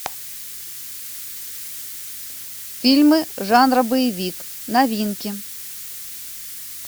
фильмы жанра боевик новинки